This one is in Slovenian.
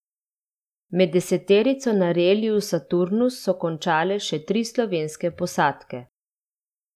Med deseterico na reliju Saturnus so končale še tri slovenske posadke.